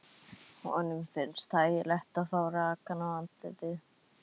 Honum finnst þægilegt að fá rakann í andlitið.